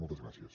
moltes gràcies